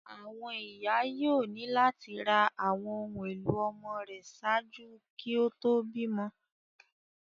Àwọn iya yoo ni lati ra awọn ohun elo ọmọ rẹ ṣaaju kí ó tó bímọ